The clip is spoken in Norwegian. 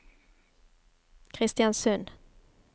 Kristiansund